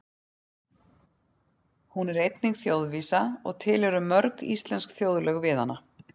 Hún er einnig þjóðvísa og til eru mörg íslensk þjóðlög við hana.